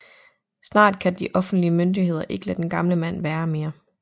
Snart kan de offentlige myndigheder ikke lade den gamle mand være mere